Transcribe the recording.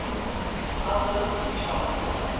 albums chart